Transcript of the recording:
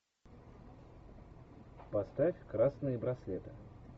поставь красные браслеты